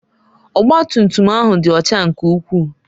Ọgba tum tum ahụ dị ọcha nke ukwuu.